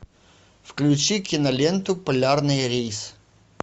включи киноленту полярный рейс